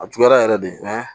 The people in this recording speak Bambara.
A juguyara yɛrɛ de